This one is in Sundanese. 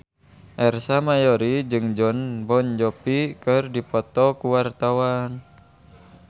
Ersa Mayori jeung Jon Bon Jovi keur dipoto ku wartawan